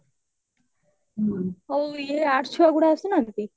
ଆଉ ଇଏ arts ଛୁଆ ଗୁଡା ଆସୁନାହାନ୍ତି